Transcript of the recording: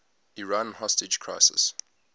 iran hostage crisis